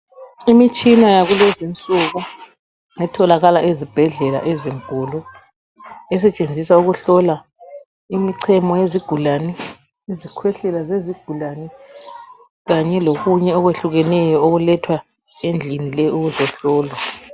Imitshina yakulezinsuku etholakala ezibhedlela ezinkulu esetshenziswa ukuhlola imichemo yezigulane, izikhwehlela zezigulane kanye lokunye okwehlukeneyo okulethwa endlini le ukuzohlolwa.